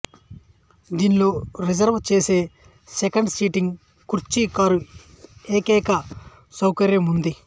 దీనిలో రిజర్వు చేసే second seating కుర్చీ కారు ఏకైక సౌకర్యం ఉంది